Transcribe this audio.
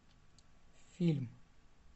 фильм